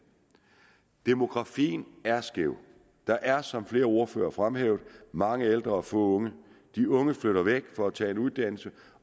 demografien er skæv der er som flere ordførere har fremhævet mange ældre og få unge de unge flytter væk for at tage en uddannelse